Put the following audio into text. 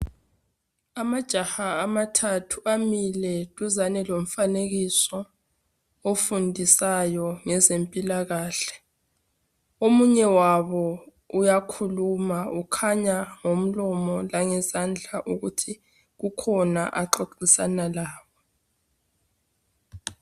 Amajaha amathathu amile duzane lomfanekiso ofundisayo ngezempilakahle. Omunye wabo uyakhuluma ukhanya ngomlomo langezandla ukuthi kukhona axoxisana labo.